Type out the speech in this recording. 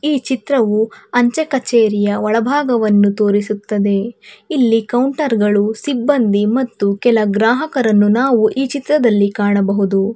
ಈ ಚಿತ್ರವು ಅಂಚೆ ಕಚೇರಿಯ ಒಳಬಾಗವನ್ನು ತೋರಿಸುತ್ತದೆ ಇಲ್ಲಿ ಕೌಂಟರ್ ಗಳು ಸಿಬ್ಬಂದಿ ಮತ್ತು ಕೆಲ ಗ್ರಾಹಕರನ್ನು ನಾವು ಈ ಚಿತ್ತದಲ್ಲಿ ಕಾಣಬಹುದು.